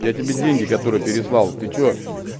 я тебе деньги которые переслал ты что